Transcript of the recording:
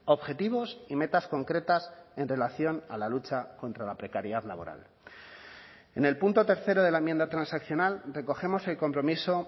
objetivos y metas concretas en relación a la lucha contra la precariedad laboral en el punto tercero de la enmienda transaccional recogemos el compromiso